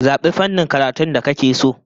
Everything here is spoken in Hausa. Zabi fannin karatun da kake so!